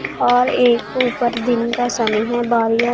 और एक ऊपर दिन का समय है --